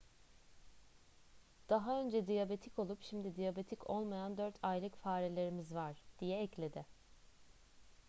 daha önce diyabetik olup şimdi diyabetik olmayan 4 aylık farelerimiz var diye ekledi